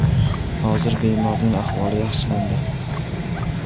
Hozir bemorning ahvoli yaxshilandi.